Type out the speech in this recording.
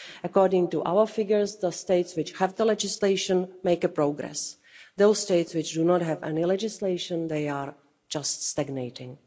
According to our figures the states which have the legislation make progress those states which do not have any legislation are just stagnating.